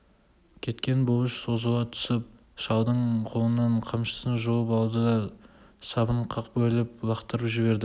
кеткен бұлыш созыла түсіп шалдың қолынан қамшысын жұлып алды да сабын қақ бөліп лақтырып жіберді